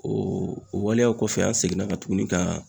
O o waleyaw kɔfɛ, an seginna ka tuguni ka